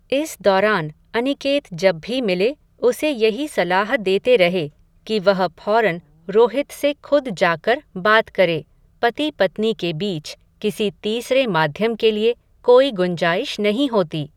इस दौरान, अनिकेत जब भी मिले, उसे यही सलाह देते रहे, कि वह फौरन रोहित से खुद जाकर, बात करे, पति पत्नी के बीच, किसी तीसरे माध्यम के लिए, कोई गुंजाइश नहीं होती